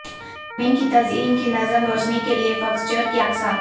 زمین کی تزئین کی نظم روشنی کے لئے فکسچر کی اقسام